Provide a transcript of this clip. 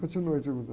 Continue a pergunta.